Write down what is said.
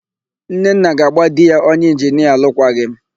Nnenna ga-agba di ya onye ịnginia alụkwaghịm